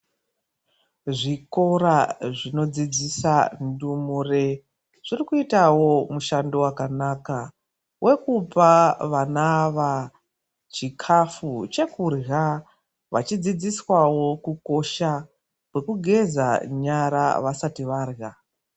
Zvikora zvinodzidzisa ndumure zvikuitawo mushando wakanaka wekupa vana ava chikhafu chekurya vachidzidziswawo kukosha kwekugeza nyara vasati varya.